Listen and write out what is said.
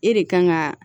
E de kan ka